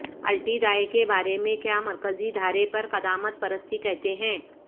الٹی دائیں کے بارے میں کیا مرکزی دھارے پر قدامت پرستی کہتے ہیں